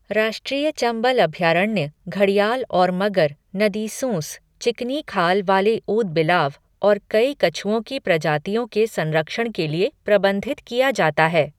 राष्ट्रीय चंबल अभयारण्य घड़ियाल और मगर, नदी सूँस, चिकनी खाल वाले ऊदबिलाव और कई कछुओं की प्रजातियों के संरक्षण के लिए प्रबंधित किया जाता है।